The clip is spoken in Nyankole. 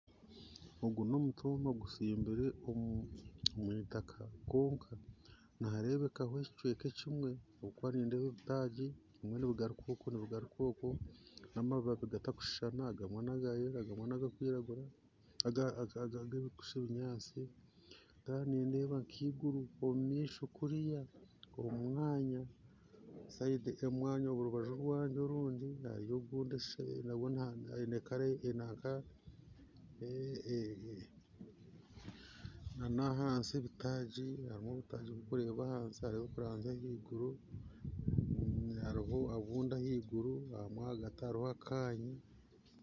Ogu nomutumba gussimbire omwitaka konka niharebekaho ekyi kweka ekyimwe, akuba nindeeba ebitagyi nibigaruka oku nibigaruka oku namababi gatarikuhishana ,agamwe naga yelo agamwe naga ga aga kuhisha ebinyantsi ,Kandi nindeeba nkiguru omumisho kuriya omumwanya, sayidi yo mwanya orubajju rwayo orundi naba she obundi ayine kala baka eya e-- nana ahansi hariho ebitagyi bikureeba ahantsi hariho ebitagyi bikureeba ahiguru hariho obundi ahiguru ahagati hariho akanya